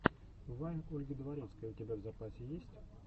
вайн ольги дворецкой у тебя в запасе есть